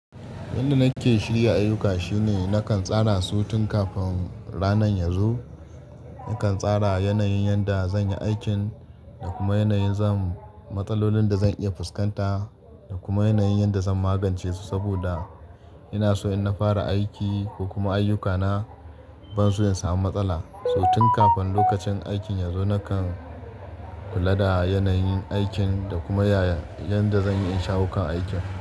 Yanda nake shirya ayyuka shine nakan tsara su tun kafin ranan ya zo. Nakan tsara yanayin yanda zan yi aikin da kuma yanayin zan matsalolin da zan iya fuskanta da kuma yanayin yanda zan magance su. Saboda ina so in na fara aiki ko kuma ayyukana ban so in samu matsala. So tun kafin lokacin aikin ya zo nakan kula da yanayin aikin da kuma yaya yanda zan yi in shawo kan aikin.